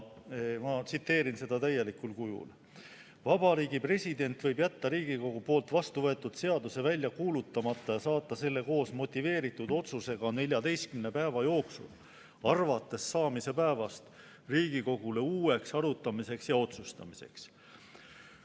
Ma tsiteerin seda täielikul kujul: "Vabariigi President võib jätta Riigikogu poolt vastuvõetud seaduse välja kuulutamata ja saata selle koos motiveeritud otsusega neljateistkümne päeva jooksul, arvates saamise päevast, Riigikogule uueks arutamiseks ja otsustamiseks.